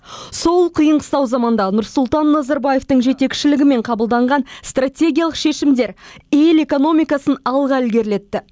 сол қиын қыстау заманда нұрсұлтан назарбаевтың жетекшілігімен қабылданған стратегиялық шешімдер ел экономикасын алға ілгерілетті